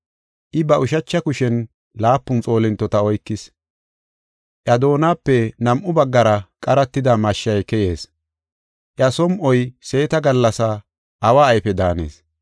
I ba ushacha kushen laapun xoolintota oykis. Iya doonape nam7u baggara qaratida mashshay keyees. Iya som7oy seeta gallasa awa ayfe daanees.